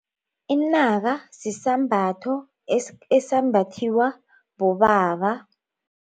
Inaka sisembatho esambathiwa bobaba.